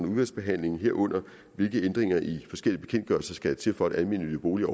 udvalgsbehandlingen herunder hvilke ændringer i forskellige bekendtgørelser der skal til for at almennyttige boliger